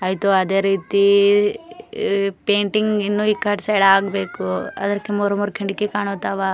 ಆಯಿತು ಅದೇ ರೀತಿ ಪೇಂಟಿಂಗ್ ಇನ್ನು ಕಟ್ಟಿಸ್ಯಾರ ಆಗ್ಬೇಕು ಅದಕ್ಕೆ ಮೂರ್ ಮೂರ್ ಕಿಡಕಿ ಕಾಂತಾವ.